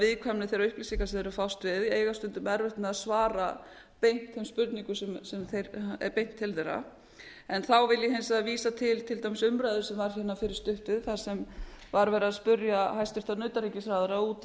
viðkvæmni þeirra upplýsinga sem þeir eru að fást við eiga stundum erfitt með að svara beint þeim spurningum sem er beint til þeirra þá vil ég hins vegar vísa til þeirrar umræðu sem var fyrir stuttu þar sem var verið að spyrja hæstvirtan utanríkisráðherra út